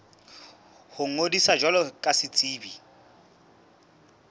ho ngodisa jwalo ka setsebi